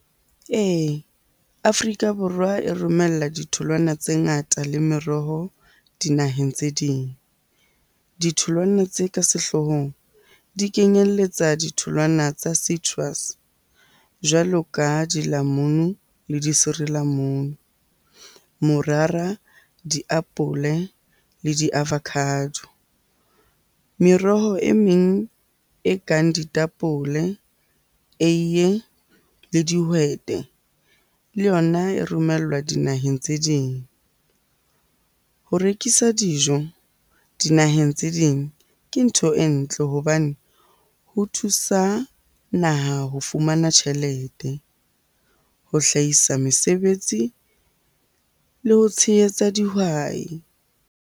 Ee, Afrika Borwa e romella ditholwana tse ngata le meroho dinaheng tse ding. Ditholwana tse ka sehloohong di kenyeletsa ditholwana tsa citrus jwalo ka dilamunu, le disirilamunu, morara, diapole le di-avocado. Meroho e meng e kang ditapole, eiye le dihwete le yona e romellwa dinaheng tse ding. Ho rekisa dijo dinaheng tse ding ke ntho e ntle hobane ho thusa naha ho fumana tjhelete, ho hlahisa mesebetsi le ho tshehetsa dihwai.